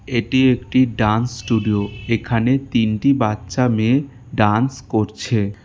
এটি একটি dance studio এখানে তিনটি বাচ্চা মেয়ে ডান্স করছে।